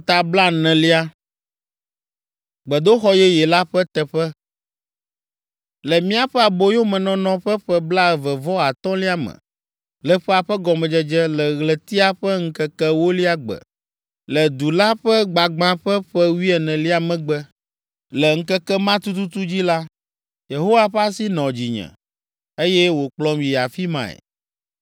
Le míaƒe aboyomenɔnɔ ƒe ƒe blaeve-vɔ-atɔ̃lia me, le ƒea ƒe gɔmedzedze, le ɣletia ƒe ŋkeke ewolia gbe, le du la ƒe gbagbã ƒe ƒe wuienelia megbe, le ŋkeke ma tututu dzi la, Yehowa ƒe asi nɔ dzinye, eye wòkplɔm yi afi mae.